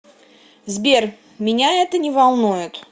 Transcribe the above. сбер меня это не волнует